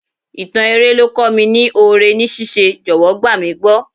Ìtàn eré ló kọ́ mi ní oore ní ṣíṣe, jọ̀wọ́ gbà mí gbọ́.